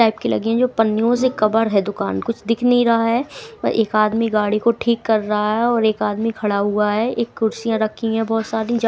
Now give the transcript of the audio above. type की लगे है जो पन्नियों से कवर है दुकान कुछ दिख नहीं रहा है और एक आदमी गाड़ी को ठीक कर रहा है और एक आदमी खड़ा हुआ है एक कुर्सियां रखी हैं बहुत सारी --